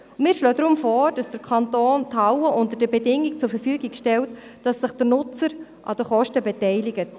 Wir schlagen deshalb vor, dass der Kanton die Hallen unter den Bedingungen zur Verfügung stellt, dass der Nutzer sich an den Kosten beteiligt.